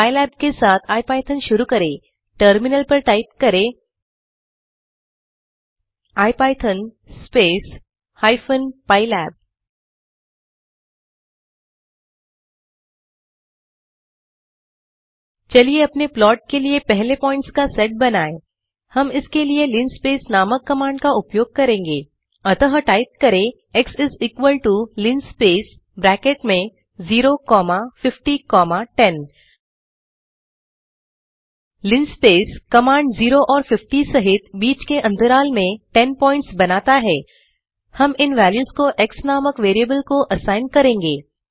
pylab के साथ IPython शुरू करें टर्मिनल पर टाइप करें इपिथॉन स्पेस हाइफेन पाइलैब चलिए अपने प्लॉट के लिए पहले पॉइंट्स का सेट बनाएँ हम इस के लिए लिनस्पेस नामक कमांड का उपयोग करेंगे अतः टाइप करें x is equal to linspace bracket में 05010 लिनस्पेस कमांड 0 और 50 सहित बीच के अंतराल में 10 प्वॉइंट्स बनाता है हम इन वेल्यूस को एक्स नामक वेरिएबल को असाइन करेंगे